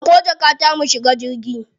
Dauko jakata mu shiga jirgi.